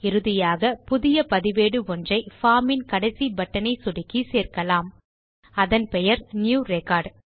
இறுதியாக புதிய பதிவேடு ஒன்றை பார்ம் இன் கடைசி பட்டன் ஐ சொடுக்கி சேர்க்கலாம் அதன் பெயர் நியூ ரெக்கார்ட்